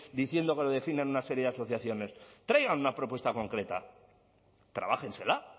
diciendo que lo defienden una serie de asociaciones traigan una propuesta concreta trabájensela